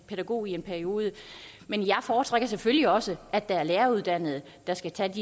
pædagog i en periode men jeg foretrækker selvfølgelig også at det er læreruddannede der skal tage